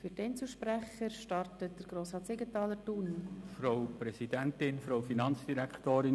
Für dieEinzelsprecher startet Grossrat Siegenthaler.